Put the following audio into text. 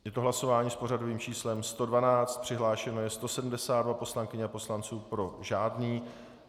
Je to hlasování s pořadovým číslem 112, přihlášeno je 172 poslankyň a poslanců, pro žádný.